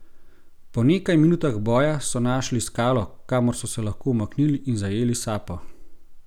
Po nekaj minutah boja so našli skalo, kamor so se lahko umaknili in zajeli sapo.